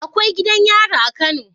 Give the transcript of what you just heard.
Akwai gidan yari a kano kuwa